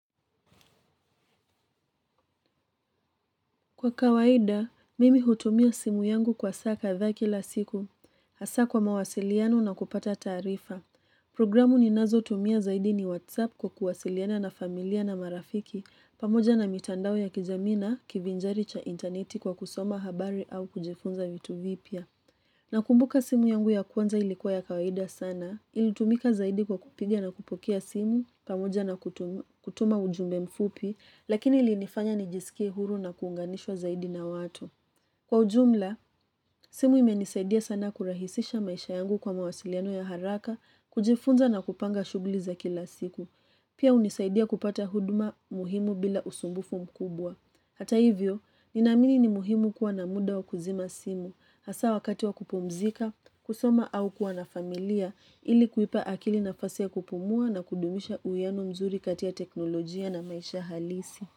Kwa kawaida, mimi hutumia simu yangu kwa saa kadhaa kila siku, hasa kwa mawasiliano na kupata taarifa. Programu ni nazo hutumia zaidi ni WhatsApp kwa kuwasiliana na familia na marafiki, pamoja na mitandao ya kijamii na, kivinjari cha interneti kwa kusoma habari au kujifunza vitu vipya. Nakumbuka simu yangu ya kwanza ilikuwa ya kawaida sana, ilitumika zaidi kwa kupigia na kupokea simu, pamoja na kutuma ujumbe mfupi, lakini ili nifanya nijisikie huru na kuunganishwa zaidi na watu. Kwa ujumla, simu imenisaidia sana kurahisisha maisha yangu kwa mawasiliano ya haraka, kujifunza na kupanga shughuli za kila siku. Pia unisaidia kupata huduma muhimu bila usumbufu mkubwa. Hata hivyo, ninamini ni muhimu kuwa na mda wa kuzima simu, hasa wakati wa kupumzika, kusoma au kuwa na familia, ili kuipa akili nafasi ya kupumua na kudumisha uwiano mzuri kati ya teknolojia na maisha halisi.